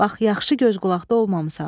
Bax yaxşı göz qulaqda olmamısan.